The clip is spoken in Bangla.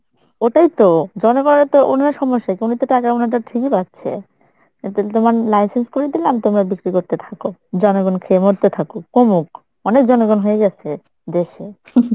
ওটাই তো জনগণেরতো উনার সমস্যা কি উনিতো টাকা উনারডা ঠিক ই পাচ্ছে তোমার license করে দিলাম তোমরা বিক্রি করতে থাকো, জনগণ খেয়ে মরতে থাকুক, কমুক, অনেক জনগণ হয়ে গেছে, দেশে।